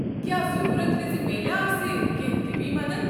کیٚا ضروٗرت وِزِ میلِیا اسہِ كینہہ طبی مدتھ ؟